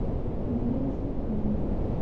березникам